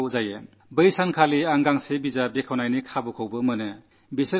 അന്ന് എനിക്ക് ഒരു പുസ്തകം പ്രകാശനം ചെയ്യാനുള്ള അവസരം ലഭിച്ചു